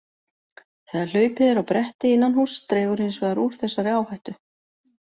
Þegar hlaupið er á bretti innan húss dregur hins vegar úr þessari áhættu.